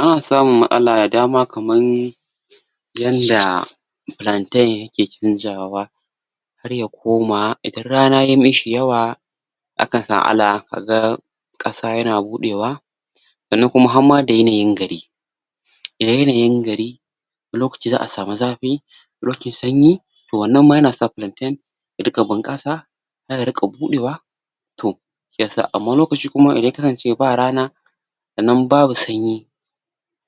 Ana samun matsala da dama kaman yanda pilanten yake canjawa har ya koma idan rana ya mishi yawa kaga ƙasa yana buɗewa sannan kuma har ma da yanayin gari idan yanayin gari wani lokaci za'a samu zafi lokacin sanyi to wannan ma yana sa pilanten ya riƙa bunƙasa ya riƙa buɗewa to shiyasa amma wani lokaci kuma idan ya kasance ba rana sannan babu sanyi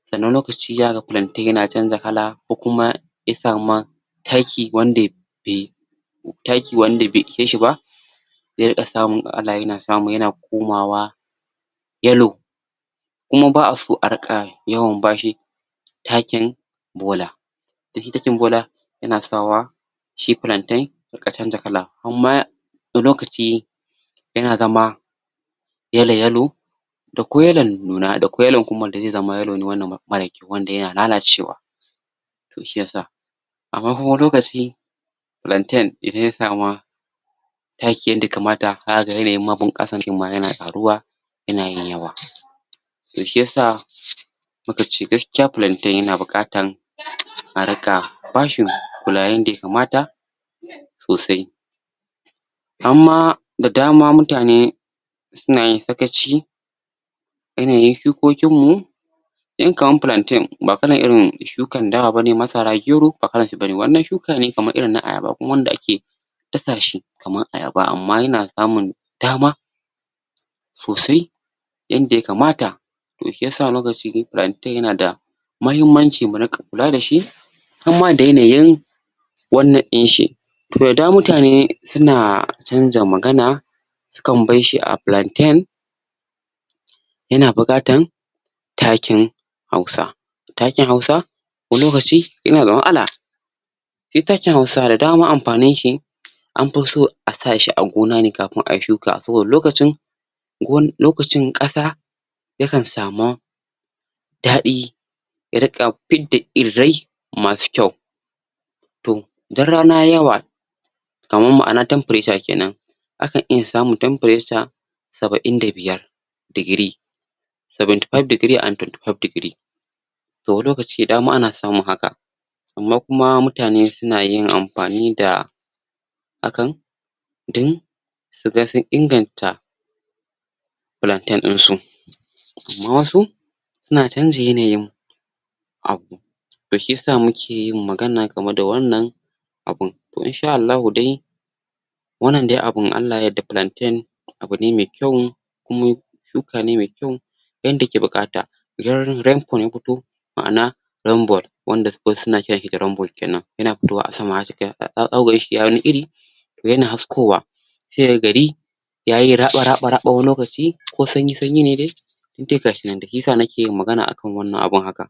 sannan wani lokaci zaka ga pilanten yana canza kala ko kuma isa ma taki wanda be taki wanda be ishe shi ba ze riƙa samun matsala yana samu yana komawa yalo kuma ba'a so a riƙa yawan bashi takin bola dan shi takin bola yana sa wa shi pilanten ya riƙa canja kala amma wani lokaci yana zama yala yalo da kwai yalon nuna da kwai kuma yalo ne wannan mara wanda yana lalacewa to shiyasa amma kuma wani lokaci pilanten idan ya sama taki yanda yakamata zaka ga yanayin bunƙasan ɗin ma yana ƙaruwa yana yin yawa to shiyasa mukace gaskiya pilanten yana buƙatan a riƙa bashin kula yanda yakamata sosai hamma da dama mutane suna yin sakaci yanayin shukokin mu dan kaman pilanten ba kalan irin shukan dawa bane masara gero ba kalanshi bane wannan shuka ne kaman irin na ayaba dasa shi kaman ayaba amma yana samun dama sosai yanda yakamata to shiyasa wani lokaci de pilanten yana da mahimmanci mu riƙa kula dashi hamma da yanayin wannan inshi to da dama mutane suna canja magana su kan barshi a pilanten yana buƙatan takin hausa takin hausa wani lokaci yana da matsala shi takin hausa da dama ampaninshi an pi so a sa shi a gona ne kapin a shuka saboda lokacin gon lokacin ƙasa ya kan sama daɗi ya riƙa pidda irrai masu kyau to idan rana yayi yawa kaman ma'ana temprature kenan akan iya samu temperature saba'in da biyar digiri seventy five degree and twenty five degree to wani lokaci da dama ana samun haka amma kuma mutane suna yin ampani da hakan din su ga sun inganta pilanten insu amma wasu suna canja yanayin? to shiyasa muke yin magana game da wannan abun to insha Allahu dai wannan de abun in Allah ya yarda pilanten abu ne me kyau kuma shuka ne me kyau yanda ake buƙata idan ri rempu ya puto ma'ana rembol wanda wasu suna kiranshi da rembol kenan yana putowa a sama um zaku ganshi yayi wani iri yana haskowa sai ya ga gari yayi raɓa raɓa raɓa wani lokaci ko sanyi sanyi ne de duk de gashinan de shiyasa nake yin magana akan wannan abun haka